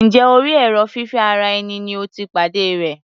Njẹ́ orí èrò fífẹ́ ara ẹni ni o ti pàdé rẹ̀?